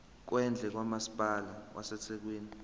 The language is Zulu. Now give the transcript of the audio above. kwendle kamasipala wasethekwini